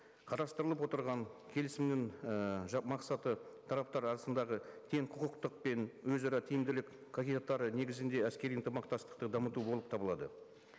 қарастырылып отырған келісімнің і мақсаты тараптар арасындағы тең құқықтық пен өзара тиімділік қағидаттары негізінде әскери ынтымақтастықты дамыту болып табылады